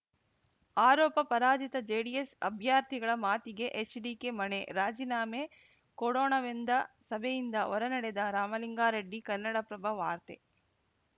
ಆರೋಪ ಪರಾಜಿತ ಜೆಡಿಎಸ್‌ ಅಭ್ಯರ್ಥಿಗಳ ಮಾತಿಗೇ ಎಚ್‌ಡಿಕೆ ಮಣೆ ರಾಜೀನಾಮೆ ಕೊಡೋಣವೆಂದ ಸಭೆಯಿಂದ ಹೊರನಡೆದ ರಾಮಲಿಂಗಾರೆಡ್ಡಿ ಕನ್ನಡಪ್ರಭ ವಾರ್ತೆ